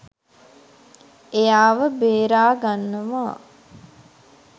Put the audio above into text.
එයාව බේරාගන්නවා.